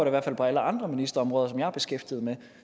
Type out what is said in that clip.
i hvert fald på alle andre ministerområder som jeg er beskæftiget med og